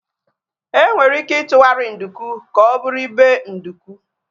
Enwere ike itughari nduku ka ọ bụrụ ibe nduku